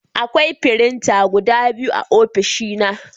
Akwai firinta guda biyu a ofishina